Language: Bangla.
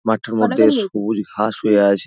মাঠটার মধ্যে সবুজ ঘাস হয়ে আছে।